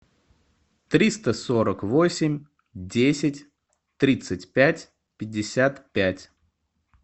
триста сорок восемь десять тридцать пять пятьдесят пять